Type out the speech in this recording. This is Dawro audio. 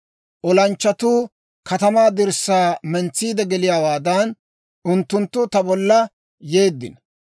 Olanchchatuu katamaa dirssaa mentsiide geliyaawaadan, unttunttu ta bolla yeeddino.